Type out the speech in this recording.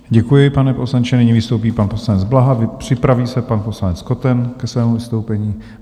Děkuji, pane poslanče, nyní vystoupí pan poslanec Blaha, připraví se pan poslanec Koten ke svému vystoupení.